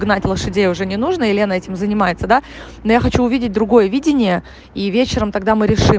гнать лошадей уже не нужно и лена этим занимается да но я хочу увидеть другое видение и вечером тогда мы решим